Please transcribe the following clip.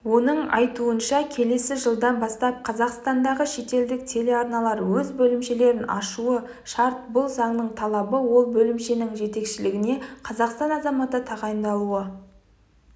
оның айтуынша келесі жылдан бастап қазақстандағы шетелдік телеарналар өз бөлімшелерін ашуы шарт бұл заңның талабы ал бөлімшенің жетекшілігіне қазақстан азаматы тағайындалуы